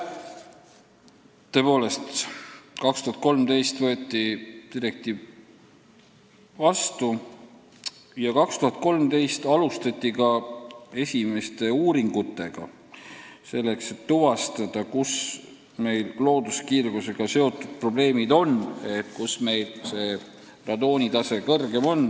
Tõepoolest, 2013. aastal võeti direktiiv vastu ja 2013. aastal alustati ka esimesi uuringuid, et tuvastada, kus meil looduskiirgusega seotud probleemid on, kus täpsemalt on radoonitase kõrgem.